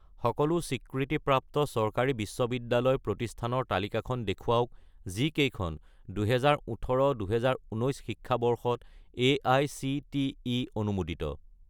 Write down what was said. সকলো স্বীকৃতিপ্ৰাপ্ত চৰকাৰী বিশ্ববিদ্যালয় প্ৰতিষ্ঠানৰ তালিকাখন দেখুৱাওক যিকেইখন 2018 - 2019 শিক্ষাবৰ্ষত এআইচিটিই অনুমোদিত